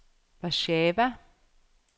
Warszawa